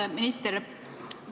Hea minister!